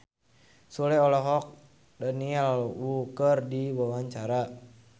Sule olohok ningali Daniel Wu keur diwawancara